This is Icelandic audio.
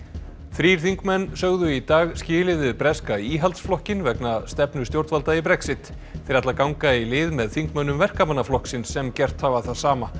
þrír þingmenn sögðu í dag skilið við breska Íhaldsflokkinn vegna stefnu stjórnvalda í Brexit þeir ætla að ganga í lið með þingmönnum Verkamannaflokksins sem gert hafa það sama